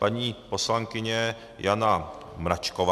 Paní poslankyně Jana Mračková?